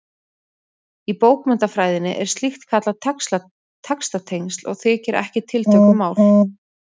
Í bókmenntafræðinni er slíkt kallað textatengsl og þykir ekki tiltökumál.